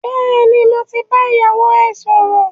Bẹ́ẹ̀ni, mo ti bá ìyàwó ẹ sọ̀rọ̀